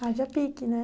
Haja pique, né?